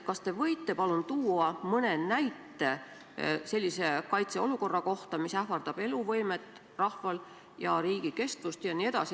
Kas te võite palun tuua mõne näite sellise kaitseolukorra kohta, kus on ohus rahva eluvõime ja riigi kestvus?